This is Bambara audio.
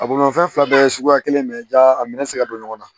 A bolimafɛn fila bɛɛ ye suguya kelen de ye jaa a minɛ tɛ se ka don ɲɔgɔn na